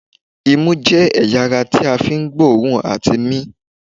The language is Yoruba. Ìmú jẹ́ ẹ̀yà ara ti a fi ń gbóòòrùn àti mi